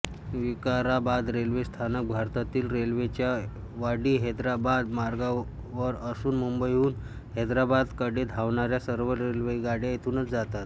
Vikarabad railway स्थानक भारतीय रेल्वेच्या वाडीहैदराबाद मार्गावर असून मुंबईहून हैदराबादकडे धावणाऱ्या सर्व रेल्वेगाड्या येथूनच जातात